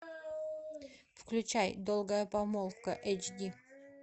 включай долгая помолвка эйч ди